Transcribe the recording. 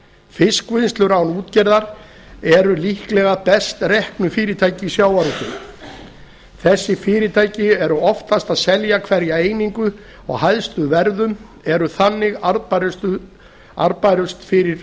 fiskvinnslur án útgerðar eru líklega best reknu fyrirtækin í sjávarútvegi þessi fyrirtæki eru oftast að selja hverja einingu á hæstu verðum eru þannig arðbærust fyrir